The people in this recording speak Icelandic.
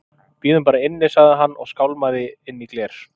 Við bíðum bara inni- sagði hann og skálmaði inn í gler